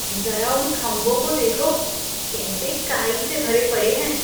ज़रा उन खंभों को देखो। कैसे काई से भरे पड़े हैं।